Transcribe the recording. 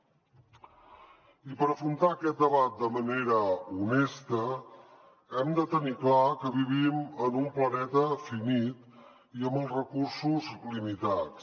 i per afrontar aquest debat de manera honesta hem de tenir clar que vivim en un planeta finit i amb els recursos limitats